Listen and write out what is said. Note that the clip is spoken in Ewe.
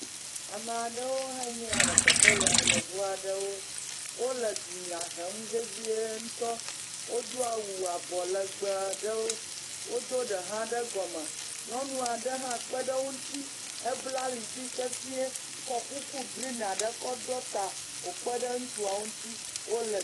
Ame aɖewo hã nye ya le teƒe ya, yevu aɖewo, wole dunya hem vevie ŋutɔ. Wodo awu abɔ legbee aɖewo. Wodo ɖe hã ɖe gɔme. Nyɔnu aɖe hã kpe ɖe wo ŋuti hebla ali dzi sesɛ̃e kɔ kuku grin aɖe kɔ ɖɔ ta, wòkpe ɖe ŋutsuawo ŋuti wole…